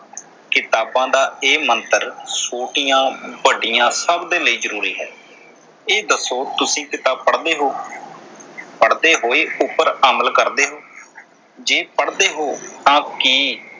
ਕਿਤਾਬਾਂ ਦਾ ਇਹ ਮੰਤਰ ਛੋਟੀਆਂ ਵੱਡੀਆਂ ਸਭ ਦੇ ਲਈ ਜਰੂਰੀ ਹੈ। ਇਹ ਦੱਸੋ ਤੁਸੀਂ ਕਿਤਾਬ ਪੜਦੇ ਹੋ ਪੜਦੇ ਹੋਏ ਉਮਰ ਅਮਲ ਕਰਦੇ ਹੋ? ਜੇ ਪੜਦੇ ਹੋ ਤਾਂ ਕੀ